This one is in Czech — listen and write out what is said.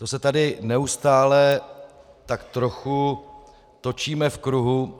To se tady neustále tak trochu točíme v kruhu.